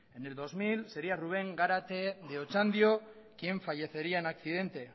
en el dos mil sería rubén garate de otxandio quien fallecería en accidente